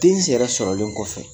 Den sɛrɛ sɔrɔlen kɔfɛ